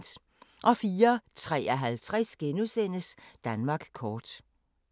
04:53: Danmark kort *